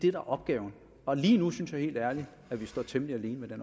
er opgaven og lige nu synes jeg helt ærligt at vi står temmelig alene med